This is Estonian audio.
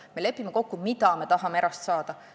Me lepime kokku, mida me tahame erasektorilt saada.